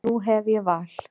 Nú hef ég val.